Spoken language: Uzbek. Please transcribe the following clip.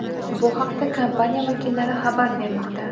Bu haqda kompaniya vakillari xabar bermoqda .